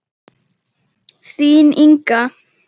Þín Inga.